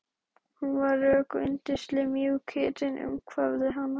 Hún var rök og yndislega mjúk, hitinn umvafði hann.